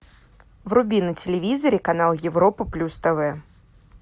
вруби на телевизоре канал европа плюс тв